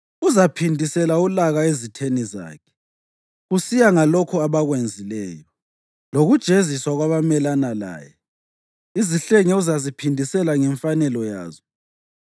Uzaphindisela ulaka ezitheni zakhe, kusiya ngalokho abakwenzileyo; lokujeziswa kwabamelana laye; izihlenge uzaziphindisela ngemfanelo yazo.